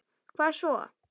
Hvað svo?